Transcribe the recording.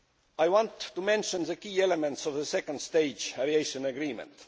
I now want to mention the key elements of the second stage aviation agreement.